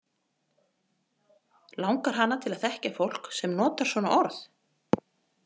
Langar hana til að þekkja fólk sem notar svona orð?